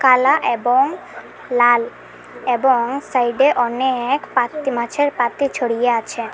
কালা এবং লাল এবং সাইডে অনেক পাত-মাছের পাতি ছড়িয়ে আছে।